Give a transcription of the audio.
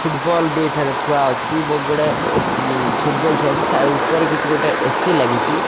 Football ବି ଏଠାରେ ଥୁଆଅଛି ବହୁତ ବଢିଆ ଏସ ଫୁଟବଲ ଥୁଆଅଛି ସା ଉପରେ କିଛି ଗୋଟେ ଏ_ସି ଲାଗିଚି।